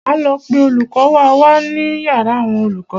Máa lọ pe olùkọ́ wa wá ní yàrá àwọn olùkọ́.